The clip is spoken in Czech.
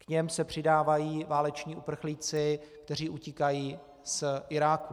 K nim se přidávají váleční uprchlíci, kteří utíkají z Iráku.